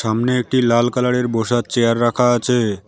সামনে একটি লাল কালারের বসার চেয়ার রাখা আছে।